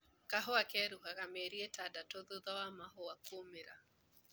Kahua keruhaga mĩeri itandatũ thutha wa mahũa kũumĩra.